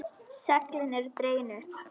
Seglin eru dregin upp.